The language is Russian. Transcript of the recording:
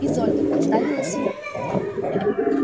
изольда представилась я